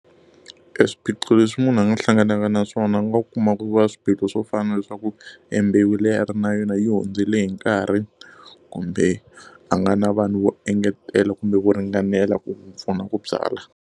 E swiphiqo leswi munhu a nga hlanganaka na swona u nga kuma ku va na swiphiqo swo fana na leswaku, e mbewu leyi a nga na yona yi hundzile hi nkarhi kumbe a nga na vanhu vo engetela kumbe vo ringanela ku n'wi pfuna ku byala.